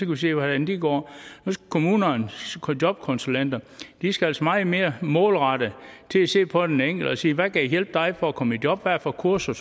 vi se hvordan det går kommunernes jobkonsulenter skal altså meget mere målrettet til at se på den enkelte og sige hvad kan hjælpe dig for at komme i job hvad for kurser